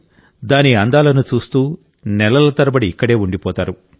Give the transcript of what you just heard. దాని అందాలను చూస్తూ నెలల తరబడి ఇక్కడే ఉండిపోతారు